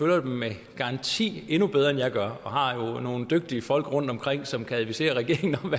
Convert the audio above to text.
jo med garanti endnu bedre end jeg gør og har jo nogle dygtige folk rundtomkring som kan advisere regeringen om